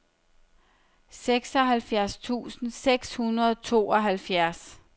seksoghalvfjerds tusind seks hundrede og tooghalvfjerds